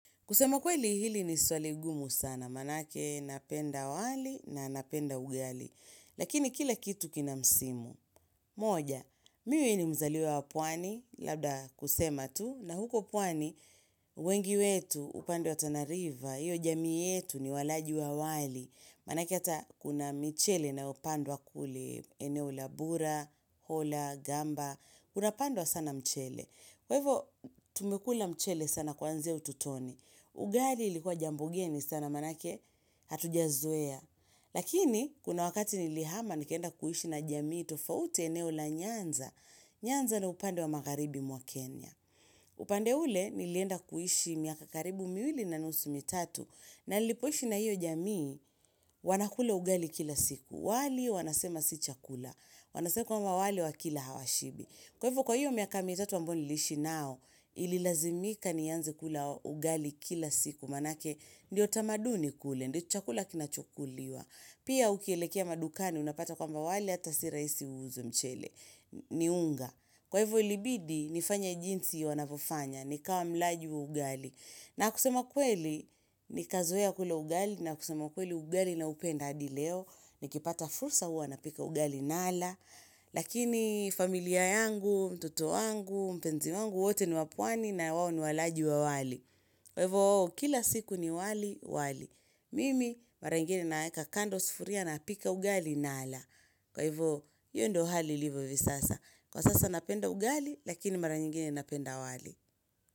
Kusema kweli hili ni swali ngumu sana, manake napenda wali na napenda ugali. Lakini kila kitu kina msimu. Moja, mimi ni mzaliwa wa pwani, labda kusema tu, na huko pwani, wengi wetu upande wa tana riva, hiyo jamii yetu ni walaji wa wali. Manake ata kuna michele inayopandwa kule, eneo la bura, hola, gamba, unapandwa sana mchele. Kwa hivo tumekula mchele sana kuanzia utotoni. Ugali ilikuwa jambo ngeni sana manake hatujazoea. Lakini kuna wakati nilihama nikaenda kuishi na jamii tofauti eneo la nyanza. Nyanza ni upande wa magharibi mwa Kenya. Upande ule nilienda kuhishi miaka karibu miwili na nusu mitatu. Na nilipoishi na hiyo jamii wanakula ugali kila siku. Wali wanasema si chakula. Wanasema kwamba wali wakila hawashibi. Kwa hivo hio miaka mitatu ambayo niliishi nao nililazimika nianze kula ugali kila siku manake ndiyo tamaduni kule ndicho chakula kinachokuliwa. Pia ukielekea madukani unapata kwamba wale hata si rahisi wauze mchele. Ni unga. Kwa hivyo ilibidi nifanye jinsi wanapofanya. Nikawa mlaji wa ugali. Na kusema kweli, nikazoea kula ugali na kusema ukweli ugali naupenda hadi leo, nikipata fursa huwa na pika ugali nala, lakini familia yangu, mtoto wangu, mpenzi wangu, wote ni wa pwani na wao ni walaji wa wali. Kwa hivo, kila siku ni wali, wali. Mimi, mara ingine naweka kando sufuria napika ugali nala. Kwa hivo, hio ndo hali ilivyo vi sasa. Kwa sasa napenda ugali, lakini mara nyingine napenda wali.